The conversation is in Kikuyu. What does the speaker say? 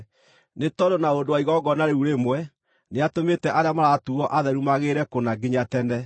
nĩ tondũ na ũndũ wa igongona rĩu rĩmwe, nĩatũmĩte arĩa maratuuo atheru magĩrĩre kũna nginya tene.